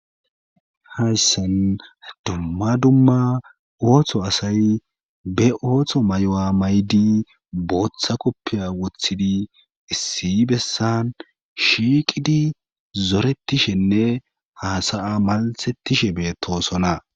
Hayssen dumma dumma ooththo asay be ooththo may7o7a maydi booththa koppiya woththidi issi bessan shiiqidi zoretishenne haasaya maltettishe beetosona.